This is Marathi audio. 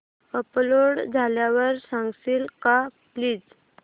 अपलोड झाल्यावर सांगशील का प्लीज